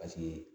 Paseke